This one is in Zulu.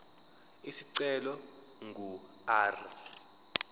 isicelo ingu r